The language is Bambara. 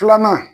Filanan